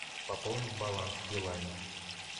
пополнить баланс билайн